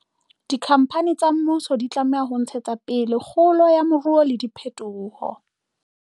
Dikhampani tsa mmuso di tlameha ho ntshetsa pele kgolo ya moruo le diphetoho